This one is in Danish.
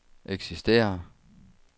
eksisterer